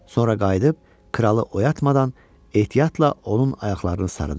Sonra qayıdıb kralı oyatmadan ehtiyatla onun ayaqlarını sarıdı.